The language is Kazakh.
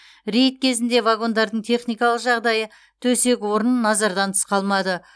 рейд кезінде вагондардың техникалық жағдайы төсек орын назардан тыс қалмады